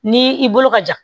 Ni i bolo ka ja